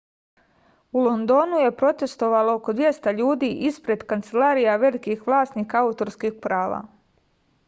u londonu je protestovalo oko 200 ljudi isped kancelarija velikih vlasnika autorskih prava